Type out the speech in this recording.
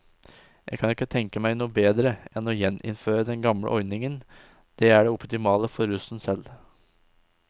Jeg kan ikke tenke meg noe bedre enn å gjeninnføre den gamle ordningen, det er det optimale for russen selv.